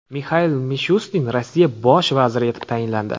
Mixail Mishustin Rossiya bosh vaziri etib tayinlandi.